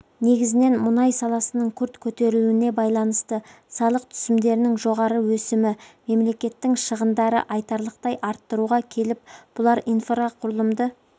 негізінен мұнай саласының күрт көтерілуіне байланысты салық түсімдерінің жоғары өсімі мемлекеттің шығындарды айтарлықтай арттыруға келіп бұлар инфрақұрылымды